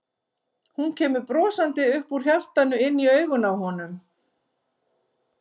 Hún kemur brosandi upp úr hjartanu inn í augun á honum.